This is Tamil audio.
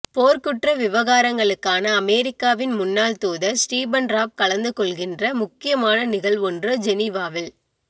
போர்குற்ற விவகாரங்களுக்கான அமெரிக்காவின் முன்னாள் தூதர் ஸ்ரீபன் றாப் கலந்து கொள்கின்ற முக்கியமான நிகழ்வொன்று ஜெனீவாவில்